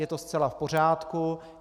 Je to zcela v pořádku.